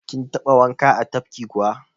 Kin taɓa wanka a tafki kuwa?